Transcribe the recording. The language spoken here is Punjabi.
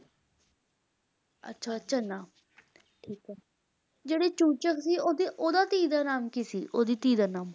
ਅੱਛਾ ਚਨਾਹ ਠੀਕ ਹੈ ਜਿਹੜੇ ਚੂਚਕ ਸੀ ਓਹਦੇ ਓਹਦਾ ਧੀ ਦਾ ਨਾਮ ਕੀ ਸੀ ਓਹਦੀ ਧੀ ਦਾ ਨਾਮ